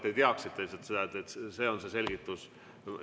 Lihtsalt, et te teaksite, et see on see selgitus.